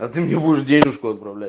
а ты мне будешь денежку отправлять